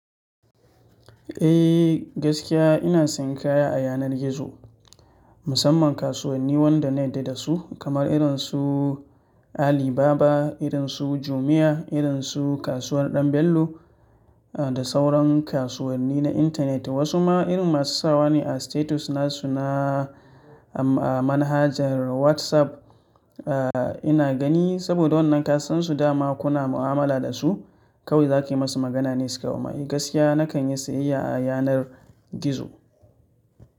Eh gaskiya ina sayan kaya a yanar gizo, musamman kasuwanni wanda na yarda da su kamar irin su Alibaba, irin su Jumia, irin su Kasuwar Dan Bello da sauran kasuwanni na intanet. Wasu ma irin masu sawa ne a status nasu na, a, a manhajar WhatsApp, eh ina gani saboda wannan ka san su dama kuna mu'amala da su. Kawai za ka yi musu magana ne sukawo ma Eh gaskiya na kan yi sayayya a yanar gizo.